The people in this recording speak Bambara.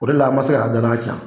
O de la an ma se k'an ka danaya ca